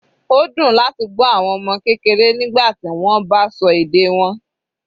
Ó dùn láti gbọ́ àwọn ọmọ kékeré nígbà tí wọ́n bá sọ èdè wọn.